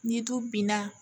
Ni du binna